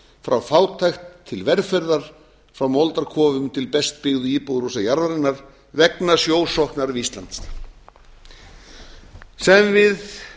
frá fátækt til velferðar frá moldarkofum til best byggðu íbúðarhúsa jarðarinnar vegna sjósóknar við ísland sem við